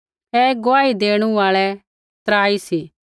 ऐ गुआही देणु आल़ै त्राई सी